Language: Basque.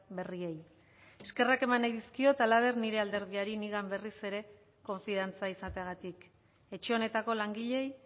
berriei eskerrak eman nahi dizkiot halaber nire alderdiari nigan berriz ere konfiantza izateagatik etxe honetako langileei